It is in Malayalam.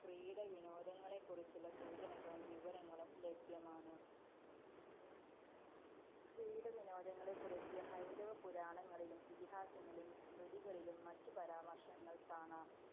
ക്രീഡ വിനോദങ്ങളെക്കുറിച്ചുള്ള സൂചനകളും വിവരങ്ങളും ലഭ്യമാണ് ക്രീഡ വിനോദങ്ങളെക്കുറിച്ച് ഹൈന്ദവപുരാണങ്ങളിലും, ഇതിഹാസങ്ങളിലും, സ്മൃതികളിലും മറ്റും പരാമര്‍ശങ്ങള്‍ കാണാം.